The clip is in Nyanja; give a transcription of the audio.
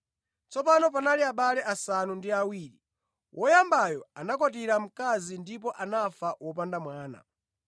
Tsopano panali abale asanu ndi awiri. Woyambayo anakwatira mkazi ndipo anafa wopanda mwana.